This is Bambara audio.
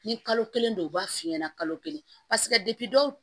Ni kalo kelen don u b'a f'i ɲɛna kalo kelen paseke dɔw